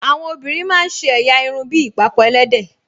Àwọn obìnrin máa ń ṣe ẹ̀yà irun bí ìpàkọ́ ẹlẹ́dẹ̀